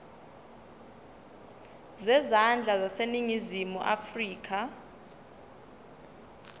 zezandla zaseningizimu afrika